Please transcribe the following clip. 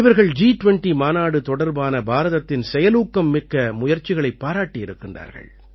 இவர்கள் ஜி20 மாநாடு தொடர்பான பாரதத்தின் செயலூக்கம் மிக்க முயற்சிகளைப் பாராட்டியிருக்கிறார்கள்